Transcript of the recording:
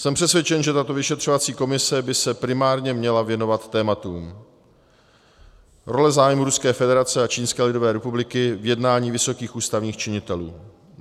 Jsem přesvědčen, že tato vyšetřovací komise by se primárně měla věnovat tématům: role zájmů Ruské federace a Čínské lidové republiky v jednání vysokých ústavních činitelů;